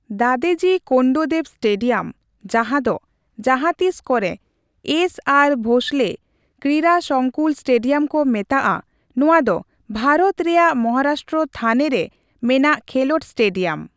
Dadoji Konddev stadium, ᱡᱟᱦᱟᱸ ᱫᱚ ᱡᱟᱦᱟᱸᱛᱤᱥ ᱠᱚᱨᱮ ᱮᱥ ᱟᱨ ᱵᱷᱳᱥᱞᱮ ᱠᱨᱤᱲᱟ ᱥᱚᱝᱠᱩᱞ ᱥᱴᱮᱰᱤᱭᱟᱢ ᱠᱚ ᱢᱮᱛᱟᱜᱼᱟ, ᱱᱚᱣᱟ ᱫᱚ ᱵᱷᱟᱨᱚᱛ ᱨᱮᱭᱟᱜ ᱢᱚᱦᱟᱨᱟᱥᱴᱨᱚ ᱛᱷᱟᱱᱮ ᱨᱮ ᱢᱮᱱᱟᱜ ᱠᱷᱮᱞᱳᱰ ᱥᱴᱮᱰᱤᱭᱟᱢ ᱾